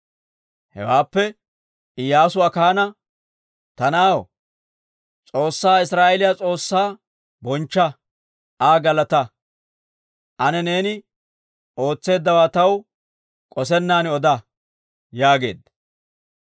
Hewaappe, Iyyaasu Akaana, «Ta na'aw, S'oossaa Israa'eeliyaa S'oossaa bonchcha; Aa galataa. Ane neeni ootseeddawaa taw k'osennan oda» yaageedda.